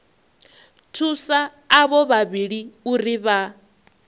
thusa avho vhavhili uri vha